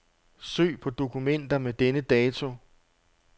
Søg på dokumenter med denne dato.